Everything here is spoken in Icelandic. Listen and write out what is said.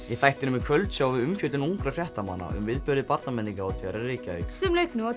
í þættinum í kvöld sjáum við umfjöllun ungra fréttamanna um viðburði Barnamenningarhátíðar í Reykjavík sem lauk